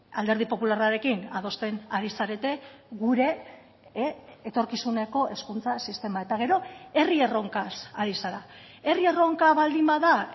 alderdi popularrarekin adosten ari zarete gure etorkizuneko hezkuntza sistema eta gero herri erronkaz ari zara herri erronka baldin bada